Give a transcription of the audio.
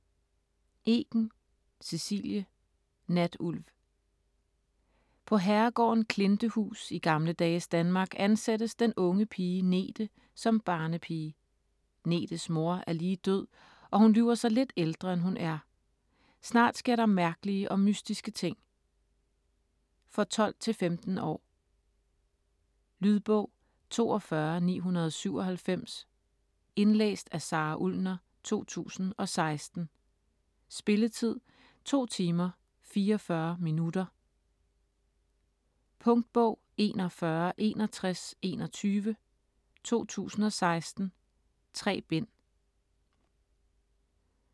Eken, Cecilie: Natulv På herregården Klintehuus i gamle dages Danmark ansættes den unge pige Nethe som barnepige. Nethes mor er lige død, og hun lyver sig lidt ældre, end hun er. Snart sker der mærkelige og mystiske ting. For 12-15 år. Lydbog 42997 Indlæst af Sara Ullner, 2016. Spilletid: 2 timer, 44 minutter. Punktbog 416121 2016. 3 bind.